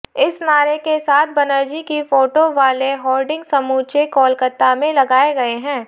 इस नारे के साथ बनर्जी की फोटो वाले होर्डिंग समूचे कोलकाता में लगाए गए हैं